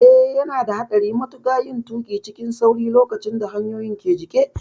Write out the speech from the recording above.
Eh, yana da haɗari matuƙa yin tuƙi cikin sauri lokacin da hanyoyin ke jike.